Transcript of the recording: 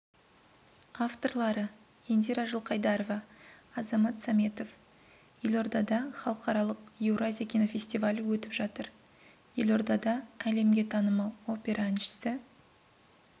авторлары индира жылқайдарова азамат сәметов елордада халықаралық еуразия кинофестивалі өтіп жатыр елордада әлемге танымал опера әншісі